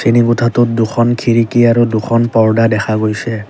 শ্ৰেণীকোঠাটোত দুখন খিৰিকী আৰু দুখন পৰ্দা দেখা গৈছে।